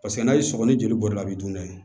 Paseke n'a ye sɔgɔ ni joli bɔra a bi dun dɛ